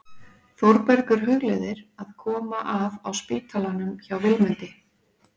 Þórbergur hugleiðir að koma að á spítalanum hjá Vilmundi.